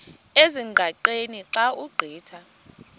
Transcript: ezingqaqeni xa ugqitha